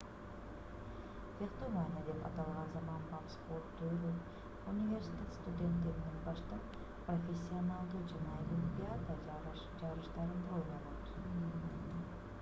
фехтование деп аталган заманбап спорт түрү университет студенттеринен баштап профессионалдуу жана олимпиада жарыштарында ойнолот